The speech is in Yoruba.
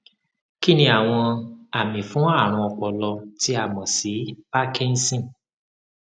kíniàwọn àmì fún àrùn ọpọlọ tí a mọ sí parkinson